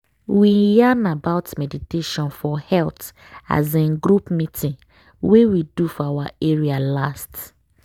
we yarn about meditation for health as in group meeting wey we do for our area last.